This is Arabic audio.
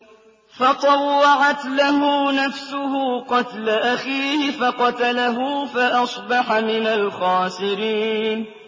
فَطَوَّعَتْ لَهُ نَفْسُهُ قَتْلَ أَخِيهِ فَقَتَلَهُ فَأَصْبَحَ مِنَ الْخَاسِرِينَ